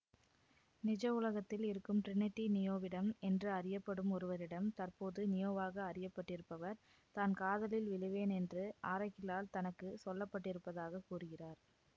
நிஜ உலகத்தில் இருக்கும் டிரினிட்டி நியோவிடம் என்று அறியப்படும் ஒருவரிடம் தற்போது நியோவாக அறியப்பட்டிருப்பவர் தான் காதலில் விழுவேன் என்று ஆரக்கிளால் தனக்கு சொல்லப்பட்டிருப்பதாக கூறுகிறார்